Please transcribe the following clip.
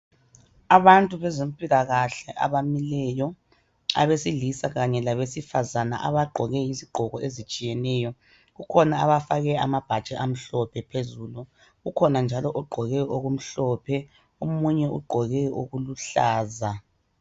Abantu beze mpilakahle abamile abesilisa kanye labesifazana abagqoke izigqoke ezitshiyeneyo kukhona abafake amabhatshi amhlophe phezulu kukhona njalo ogqoke okumhlophe umunye ugqoko okuluhlaza.